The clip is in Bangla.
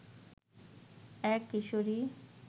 এক কিশোরী